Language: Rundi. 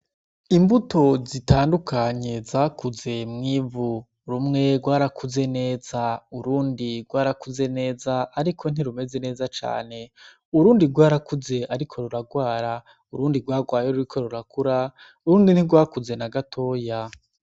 Imbuto zitandukanye zakuze mw'ivu rumwe rwarakuze neza urundi rwarakuze neza, ariko ntirumeze neza cane urundi rwarakuze, ariko ruragwara urundi rwarwaye ruriko rurakura urundi ntirwakuze na gatoya.